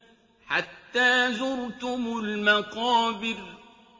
حَتَّىٰ زُرْتُمُ الْمَقَابِرَ